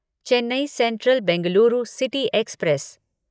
Chennai central Bengaluru city express